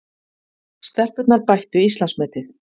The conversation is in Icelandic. Stelpurnar bættu Íslandsmetið